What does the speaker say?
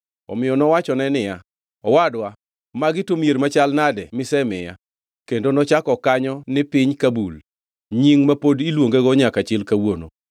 Omiyo nowachone niya, “Owadwa, magi to mier machal nadi misemiya?” Kendo nochako kanyo ni Piny Kabul, nying ma pod iluongego nyaka chil kawuono.